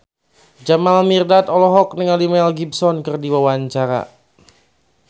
Jamal Mirdad olohok ningali Mel Gibson keur diwawancara